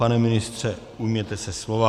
Pane ministře, ujměte se slova.